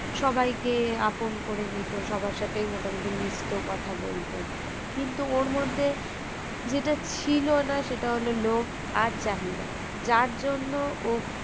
সবাইকে আপন করে নিত সবার সাথে মোটামুটি মিশতেও কথা বলতো কিন্তু ওর মধ্যে যেটা ছিল না সেটা হলো লোভ আর চাহিদা যার জন্য ও